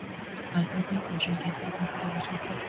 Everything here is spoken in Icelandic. Alfreð Finnbogason gæti einnig byrjað við hlið Kolbeins.